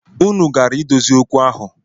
Unu gara idozi okwu ahụ?